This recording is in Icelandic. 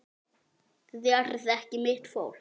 Þið eruð ekki mitt fólk.